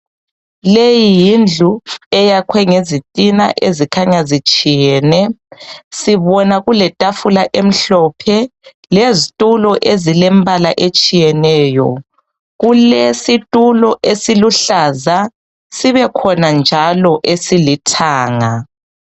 Leyi yindlu eyakhwe ngezitina ezikhanya zitshiyene sibona kuletafula emhlophe lezitulo ezilembala etshiyeneyo, kulesitulo esiluhlaza sibekhona njalo esilithanga.